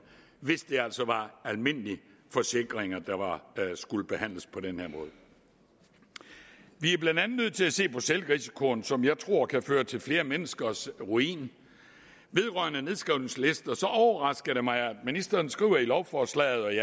hvis det altså var almindelige forsikringer der skulle behandles på den her måde vi er blandt andet nødt til at se på selvrisikoen som jeg tror kan føre til flere menneskers ruin vedrørende nedskrivningslister overrasker det mig at ministeren skriver i lovforslaget